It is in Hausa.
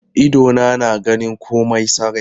Idona na ganin komai sarai.